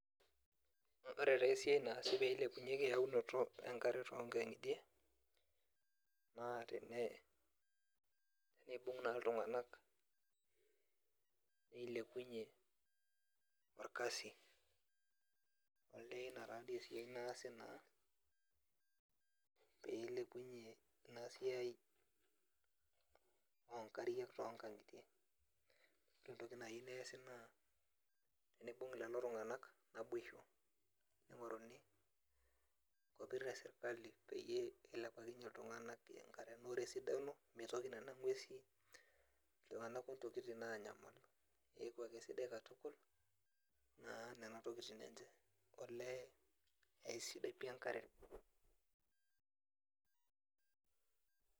Ore taa esiai naasi peilepunyeki eyaunoto enkare tonkang'itie, naa tenibung' naa iltung'anak nilepunye orkasi. Olee ina tadi esiai naasi naa peilepunye inasiai onkariak tonkang'itie, entoki nai neesi naa, tenibung' lelo tung'anak naboisho, ning'oruni nkopir esirkali peyie ilepakinye iltung'anak enkare. Ore esidano, mitoki nena ng'uesi, iltung'anak ontokiting anyamal. Keeku ake sidai katukul, naa nena tokiting enche. Olee aisidai pi enkare.